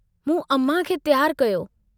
मूं अमां खे तियारु कयो।